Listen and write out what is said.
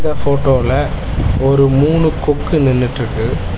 இந்த ஃபோட்டோல ஒரு மூணு கொக்கு நின்னுட்ருக்கு.